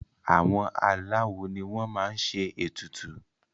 àwọn aláwo ni wọ́n máa n ṣe ètùtù